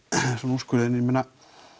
úrskurðinn ég meina